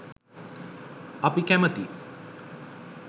අපි කැමැති